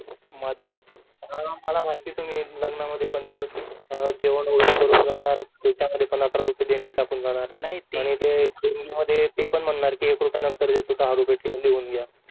मदत मला माहिती आहे तुम्ही लग्नामध्ये पण याल जेवण वैगेरे करून जाणार त्याच्या मध्ये पण अकरा रुपये देणगी टाकून जाणार आणि ते देणगी मध्ये ते पण म्हणार एक रुपया नंतर देतो दहा रुपये लिहून घ्या